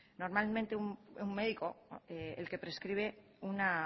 normalmente un médico el que prescribe una